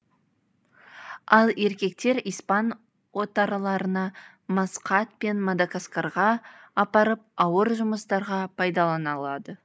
ал еркектер испан отарларына маскат пен мадагаскарға апарып ауыр жұмыстарға пайдаланылады